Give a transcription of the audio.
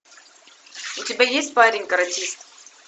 у тебя есть парень каратист